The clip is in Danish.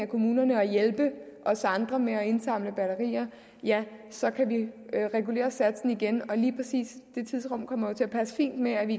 kommunerne at hjælpe os andre med at indsamle batterier ja så kan vi regulere satsen igen lige præcis det tidsrum kommer jo til at passe fint med at vi